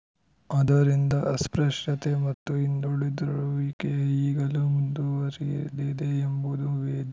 ಅದ್ದರಿಂದ ಅಸ್ಪೃಶ್ಯತೆ ಮತ್ತು ಹಿಂದುಳಿದಿರುವಿಕೆ ಈಗಲೂ ಮುಂದುವರಿದಿದೆ ಎಂಬುದು ವೇ